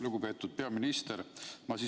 Lugupeetud peaminister!